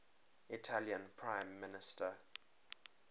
italian prime minister